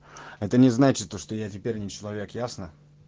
это не значит то что я теперь не человек ясно